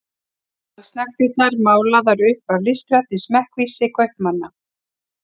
Allsnægtirnar málaðar upp af listrænni smekkvísi kaupmanna.